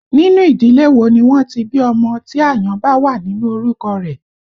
Nínú ìdílé wo ni wọ́n ti bí ọmọ tí àyàn bá wà nínú orúkọ rẹ̀?